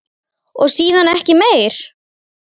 Og síðan ekki meir?